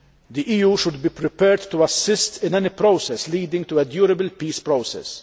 The EU should be prepared to assist in any process leading to a durable peace process.